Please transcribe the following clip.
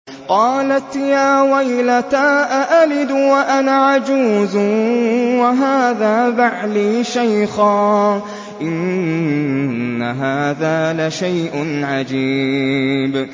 قَالَتْ يَا وَيْلَتَىٰ أَأَلِدُ وَأَنَا عَجُوزٌ وَهَٰذَا بَعْلِي شَيْخًا ۖ إِنَّ هَٰذَا لَشَيْءٌ عَجِيبٌ